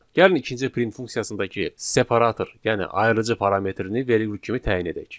Gəlin ikinci print funksiyasındakı separator, yəni ayırıcı parametrini vergül kimi təyin edək.